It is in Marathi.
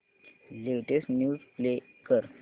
लेटेस्ट न्यूज प्ले कर